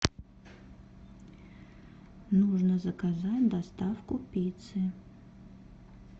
нужно заказать доставку пиццы